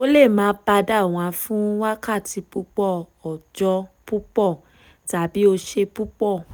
o le ma pada wa fun wakati pupo ojo pupo tabi ose pupo